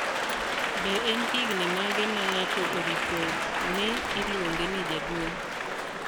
be en higni mage ma ng'ato oripo nii iluonge ni jaduong?